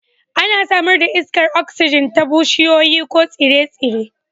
Ana samar da iskar oksijin ta bishiyoyi ko tsire-tsire